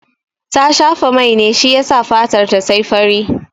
Ta shafa mai ne shi yasa fatarta ta yi fari.